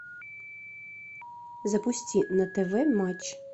запусти на тв матч